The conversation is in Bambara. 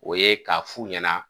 O ye k'a f'u ɲana